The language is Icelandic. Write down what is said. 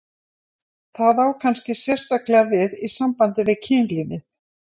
Það á kannski sérstaklega við í sambandi við kynlífið.